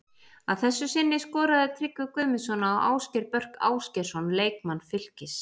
Að þessu sinni skoraði Tryggvi Guðmundsson á Ásgeir Börk Ásgeirsson leikmann Fylkis.